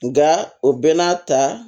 Nka o bɛɛ n'a ta